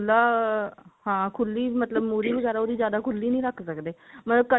ਖੁੱਲਾ ਹਾਂ ਖੁੱਲੀ ਮਤਲਬ ਮੁਹਰੀ ਵਗੇਰਾ ਜਿਆਦਾ ਉਹਦੀ ਖੁੱਲੀ ਨਹੀਂ ਰੱਖ ਸਕਦੇ ਮਤਲਬ cutting